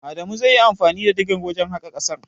Adamu zai yi anfani da digar wajen haƙa ƙasar.